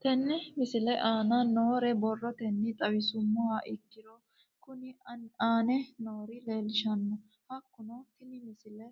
Tenne misile aana noore borrotenni xawisummoha ikirro kunni aane noore leelishano. Hakunno tinni misile